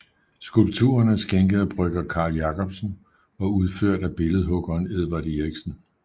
Skulpturen er skænket af brygger Carl Jacobsen og udført af billedhuggeren Edvard Eriksen